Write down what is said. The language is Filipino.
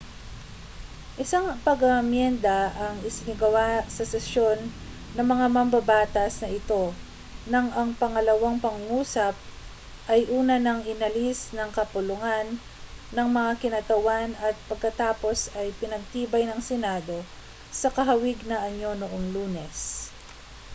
isang pag-aamyenda ang isinagawa sa sesyon ng mga mambabatas na ito nang ang pangalawang pangungusap ay una nang inalis ng kapulungan ng mga kinatawan at pagkatapos ay pinagtibay ng senado sa kahawig na anyo noong lunes